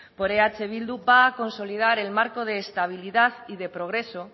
por eh bildu va a consolidar el marco de estabilidad y de progreso